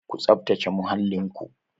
Ku tsaftace muhallin ku!